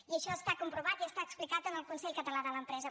i això està comprovat i això està explicat en el consell català de l’empresa